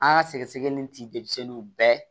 An ka sɛgɛsɛgɛli in ti denmisɛnninw bɛɛ